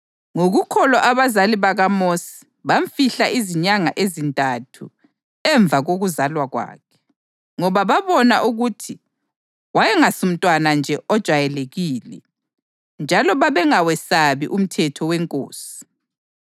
Ngokukholwa abazali bakaMosi bamfihla izinyanga ezintathu emva kokuzalwa kwakhe, ngoba babona ukuthi wayengasumntwana nje ojayelekileyo, njalo babengawesabi umthetho wenkosi.